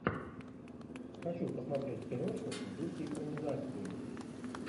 хочу посмотреть киношку в духе экранизации